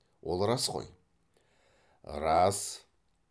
ол рас қой рас